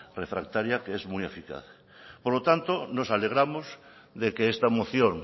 refractaria que es muy eficaz por lo tanto nos alegramos de que esta moción